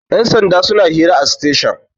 yansanda suna hira a station